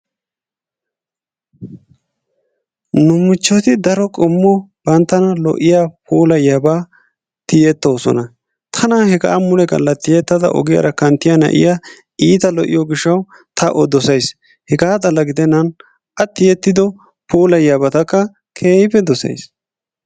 N7 michchotu daro qommo banttana puulayiyaaba tiyettoosona, tana hega muletoo riyettada ogiyaara kanttiyaa na'iyaa iittaa lo"iyoo gishshaw ta o dossays, hega xalla gidennan a tiyeetido puulayiyyabatakka keehippe dossays.